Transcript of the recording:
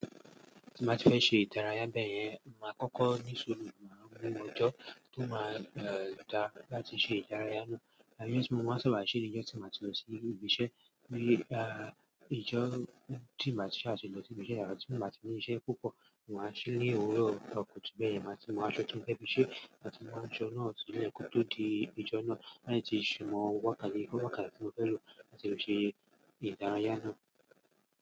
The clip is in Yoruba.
Tí bàá ti fẹ́ ṣe ìdárayá bẹ́ẹ̀ yẹn, màá kọ́kọ́ ní sùúrù, màá mú ọjọ́ tó máa dá láti ṣe ìdárayá náà. Báyìí tí mo bá sàbà ṣe ní ọjọ́ tí màá ti lọ sí ibi iṣẹ́ ní, à, ọjọ́ tí màá ti ṣàtúntọ́ tí mo bá ti mú iṣẹ́ púpọ̀, màá ṣì ní òwúrọ̀ tọkù tí bẹ́ẹ̀ yẹn, màá ti mú aṣọ tó ń fẹ́ fi ṣe, màá ti mú aṣọ náà sì ilé kọ́ tó di ọjọ́ náà láti ti ṣímo wọ̀ káàkiri fún ọ̀gá tí mo fẹ́ lò láti lọ ṣe ìdárayá náà.